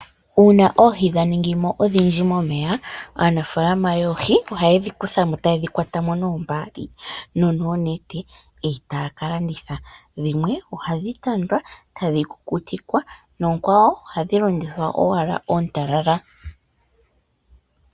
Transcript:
Uuna oohi dha ningi mo odhindji momeya, aanafaalama yoohi ohaye dhi kutha mo taye dhi kwata mo noombaali nonoonete etaya ka landitha. Dhimwe ohadhi tandwa etadhi kukutikwa noonkawo ohadhi landithwa owala oontalala.